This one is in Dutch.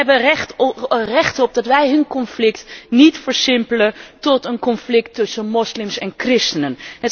Zij hebben er recht op dat wij hun conflict niet versimpelen tot een conflict tussen moslims en christenen.